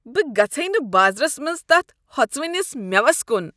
بہٕ گژھے نہٕ بازرس منٛز تتھ ہۄژوٕنس مٮ۪وس کُن۔